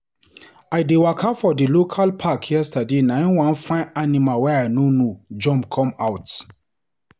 I dey waka for di local park yesterday na him one fine animal wey I no know jump come out.